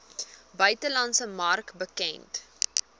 buitelandse mark bekend